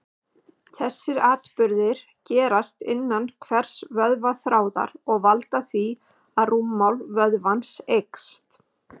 Þessir atburðir gerast innan hvers vöðvaþráðar og valda því að rúmmál vöðvans eykst.